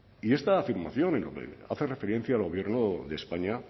y esta afirmación hace referencia al gobierno de españa